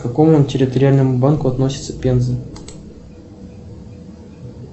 к какому территориальному банку относится пенза